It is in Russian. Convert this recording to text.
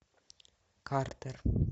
картер